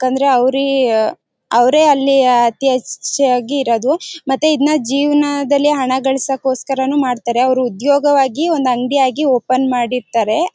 ಏಕೆಂದ್ರೆ ಅವ್ರಿ ಅವರೇ ಅಲ್ಲಿ ಅತಿ ಹೆಚ್ಚು ಆಗಿ ಇರೋದು ಮತ್ತೆ ಇದನ್ನ ಜೀವನದಲ್ಲಿ ಹಣ ಗಳಿಸಕ್ಕೋಸ್ಕರನೂ ಮಾಡ್ತಾರೆ ಅವರು ಉದ್ಯೋಗವಾಗಿ ಒಂದು ಅಂಗಡಿಯಾಗಿ ಓಪನ್ ಮಾಡಿರ್ತಾರೆ.